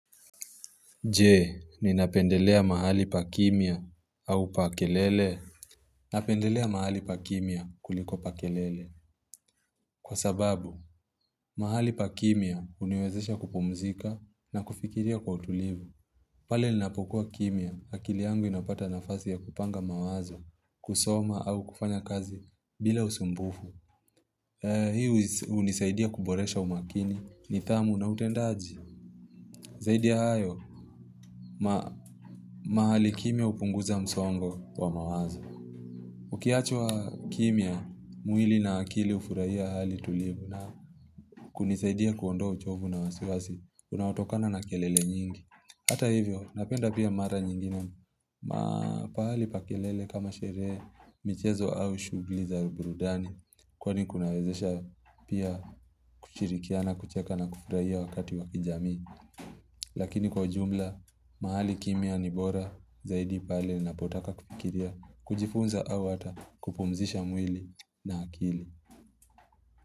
Je, ninapendelea mahali pa kimya au pa kelele? Napendelea mahali pa kimia kuliko pa kelele. Kwa sababu, mahali pa kimya huniwezesha kupumzika na kufikiria kwa utulivu. Pale ninapokuwa kimya, akili yangu inapata nafasi ya kupanga mawazo, kusoma au kufanya kazi bila usumbufu. Hii hunisaidia kuboresha umakini, nidhamu na utendaji. Zaidi ya hayo, mahali kimya hupunguza msongo. Ukiachwa kimya, mwili na akili hufurahia hali tulivu na kunisaidia kuondoa uchovu na wasiwasi, unaotokana na kelele nyingi. Hata hivyo, napenda pia mara nyingine, ma pahali pa kelele kama sherehe, michezo au shughuli za uburudani, kwani kunawezesha pia kushirikiana kucheka na kufurahia wakati wa kijamii. Lakini kwa ujumla, mahali kimya ni bora zaidi pale ninapotaka kufikiria kujifunza au hata kupumzisha mwili na akili.